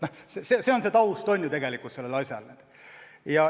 See on asja taust.